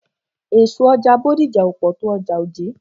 Èso ọjà Bódìjà ò pọ̀ tó ọjà Ojé.